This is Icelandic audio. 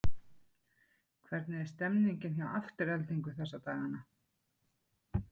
Hvernig er stemmningin hjá Aftureldingu þessa dagana?